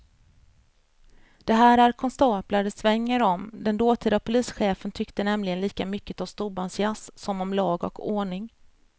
Det här är konstaplar det svänger om, den dåtida polischefen tyckte nämligen lika mycket om storbandsjazz som om lag och ordning.